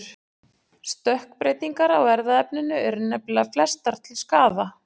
Stökkbreytingar á erfðaefninu eru nefnilega flestar til skaða.